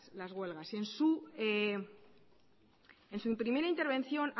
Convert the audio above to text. las huelgas en su primera intervención